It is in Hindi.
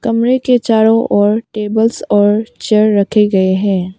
कमरे के चारों ओर टेबल्स और चेयर रखे गए हैं।